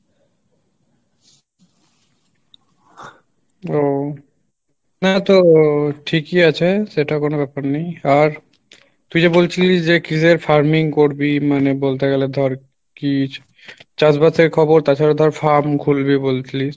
ও না তো ঠিকই আছে সেটা কোনো ব্যাপার নয় আর তুই যে বলছিলিস যে কিসের farming করবি মানে বলতে গেলে ধর বীজ চাষবাসের খবর তাছাড়া ধর farm খুলবি বলছিলিস